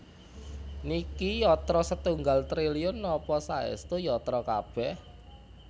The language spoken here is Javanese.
Niki yatra setunggal triliun napa saestu yatra kabeh?